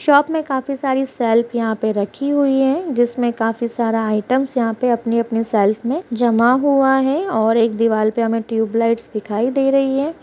Shop में काफी सारी शेल्फ यहाँ पे रखी हुई हैं जिसमें काफी सारा आइटम यहाँ पे अपनी-अपनी शेल्फ में जमा हुआ हैं और एक दीवाल पे हमें टूयबलाइट्स दिखाई दे रहीं हैं।